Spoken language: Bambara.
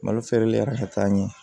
Malo feereli yɛrɛ ka taa ɲɛ